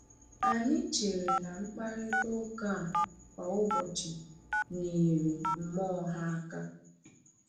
Anyị chere na mkparịta ụka a kwa ụbọchị nyere mmụọ ha aka.